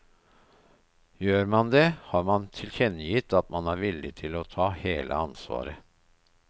Gjør man det, har man tilkjennegitt at man er villig til å ta hele ansvaret.